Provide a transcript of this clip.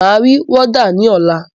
Máa ri wọ́dà ní ọ̀la.